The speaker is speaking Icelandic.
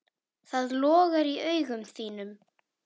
Það logar í augum þínum.